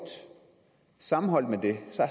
sammenholdt med det